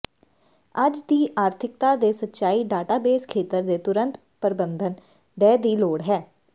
ਅੱਜ ਦੀ ਆਰਥਿਕਤਾ ਦੇ ਸੱਚਾਈ ਡਾਟਾਬੇਸ ਖੇਤਰ ਦੇ ਤੁਰੰਤ ਪਰਬੰਧਨ ਦਹਿ ਦੀ ਲੋੜ ਹੈ